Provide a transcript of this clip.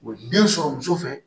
Den sɔrɔ muso fɛ